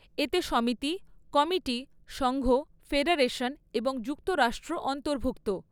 এতে সমিতি, কমিটি, সংঘ, ফেডারেশন এবং যুক্তরাষ্ট্র অন্তর্ভুক্ত।